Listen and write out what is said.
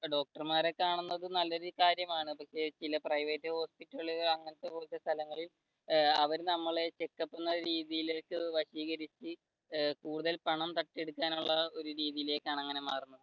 ഡോക്ടർമാരെ കാണുന്നത് നല്ല ഒരു കാര്യമാണ് പക്ഷെ ചില private hospital കളിൽ അങ്ങനത്തെ കുറച്ചു സ്ഥലങ്ങളിൽ അവർ നമ്മളെ വശീകരിച്ചു കൂടുതൽ പണം തട്ടിയെടുക്കാനുള്ള ഒരു രീതിയിലേക്കാണ് അങ്ങനെ മാറുന്നത്